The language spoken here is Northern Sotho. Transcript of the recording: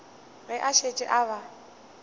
ge a šetše a ba